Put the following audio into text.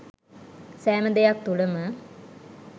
සෑම දෙයක් තුළම